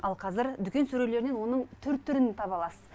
ал қазір дүкен сүрелерінен оның түр түрін таба аласыз